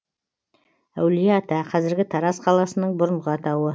әулие ата қазіргі тараз қаласының бұрынғы атауы